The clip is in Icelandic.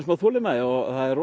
þolinmæði og það er